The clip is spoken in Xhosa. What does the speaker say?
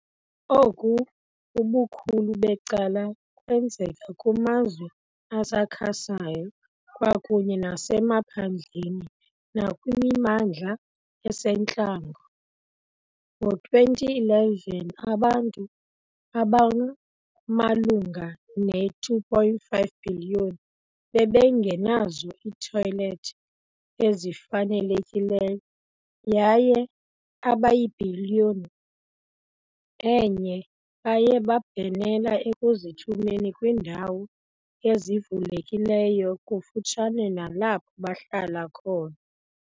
Oku ubukhulu becala kwenzeka kumazwe asakhasayo kwakunye nasemaphandleni nakwimimandla esentlango . Ngo-2011 abantu abamalunga ne-2.5 bhiliyoni bebengenazo iithoyiethi ezifanelekileyo yaye abaybhiliyoni enye baye babhenela ekuzithumeni kwiindawo ezivulekileyo kufutshane nalapho bahlala khona.